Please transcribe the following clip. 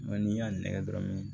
Mɛ n'i y'a nɛgɛ dɔrɔn